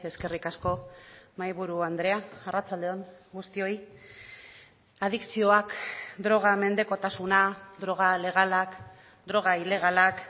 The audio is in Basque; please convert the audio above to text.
eskerrik asko mahaiburu andrea arratsalde on guztioi adikzioak droga mendekotasuna droga legalak droga ilegalak